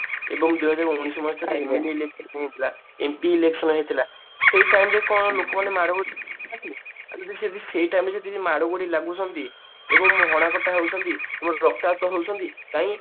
ଏବଂ ଦୁଇହାଜର ଉଣେଇଶି ମସିହା MP election ହେଇଥିଲା ସେଇ time କଣ ଲୋକମାନେ ଯଦି ସେଇ time ରେ ଯଦି ମାଡ଼ଗୋଳ ଲାଗୁଛନ୍ତି ଏବଂ ହଣାକଟା ହଉଛନ୍ତି ଏବଂ ରକ୍ତାକ୍ତ ହଉଛନ୍ତି କାଇଁ